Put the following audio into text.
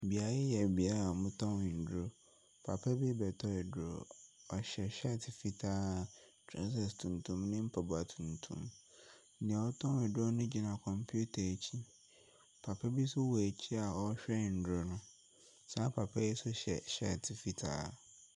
Beaeɛ yi yɛ beaeɛ a wɔtɔn nnuro. Papa bu rebɛtɔ aduro. Ɔhyɛ hyɛɛte fitaa, trousers tuntum ne mpaboa tuntum. Deɛ ɔretɔn aduro no gyina computer akyi. Papa bi no wɔ akyire a ɔrehwɛ nnuro no. Saa papa yi nso hyɛ hyɛɛte fitaa.